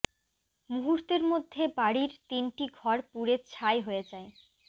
মুহূর্তের মধ্যে বাড়ির তিনটি ঘর পুড়ে ছাই হয়ে যায়